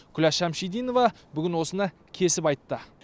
күләш шәмшидинова бүгін осыны кесіп айтты